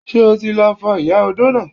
Ṣé o ti lọ fọ ìyá odó náà!